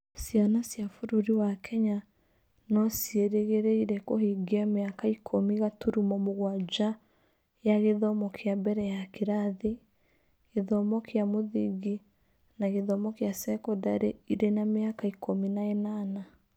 Ciana cia bũrũri wa Kenya no ciĩrĩgĩrĩre kũhingia mĩaka ikũmi gaturumo mũgwanja ya gĩthomo kĩa mbere ya kĩrathi, gĩthomo kĩa mũthingi na gĩthomo gĩa sekondarĩ irĩ na mĩaka ikũmi na ĩnana.